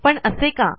पण असे का